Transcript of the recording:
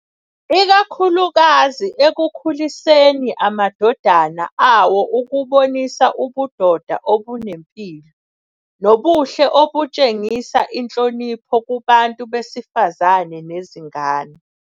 Ikakhulukazi ekukhuliseni amadodana awo ukubonisa ubudoda obunempilo, nobuhle obutshengisa inhlonipho kubantu besifazane nezingane.